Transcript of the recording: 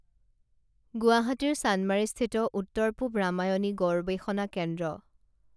গুৱাহাটীৰ চানমাৰিস্থিত উত্তৰ পূৱ ৰামায়ণী গৰৱেষণা কেন্দ্ৰ